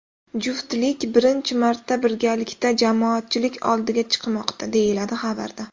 Juftlik birinchi marta birgalikda jamoatchilik oldiga chiqmoqda, deyiladi xabarda.